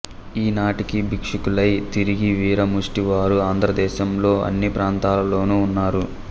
ఈ నాటికీ బిక్షుకులై తిరిగే వీర ముష్ఠి వారు ఆంధ్ర దేశంలో అన్ని ప్రాంతాలలోనూ ఉన్నారు